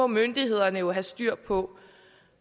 myndighederne jo have styr på